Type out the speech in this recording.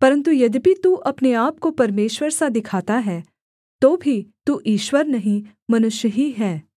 परन्तु यद्यपि तू अपने आपको परमेश्वर सा दिखाता है तो भी तू ईश्वर नहीं मनुष्य ही है